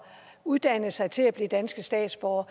uddannet sig til at blive danske statsborgere